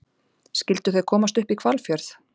Skyldu þau komast upp í Hvalfjörð?